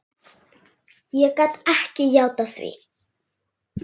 Ég gat ekki játað því.